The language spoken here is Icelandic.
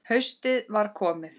Haustið var komið.